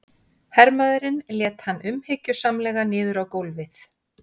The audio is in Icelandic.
Hermaðurinn lét hann umhyggjusamlega niður á gólfið.